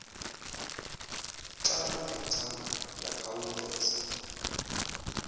xa ingathanga yakhawuleza